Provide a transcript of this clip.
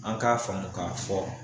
An k'a faamu k'a fɔ